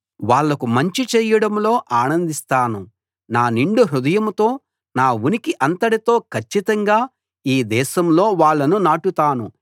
వాళ్లకు మంచి చెయ్యడంలో ఆనందిస్తాను నా నిండు హృదయంతో నా ఉనికి అంతటితో కచ్చితంగా ఈ దేశంలో వాళ్ళను నాటుతాను